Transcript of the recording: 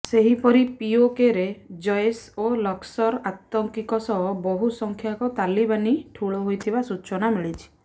ସେହିପରି ପିଓକେରେ ଜୈସ ଓ ଲସ୍କର ଆତଙ୍କୀଙ୍କ ସହ ବହୁ ସଂଖ୍ୟକ ତାଲିବାନୀ ଠୁଳ ହୋଇଥିବା ସୂଚନା ମିଳିଛି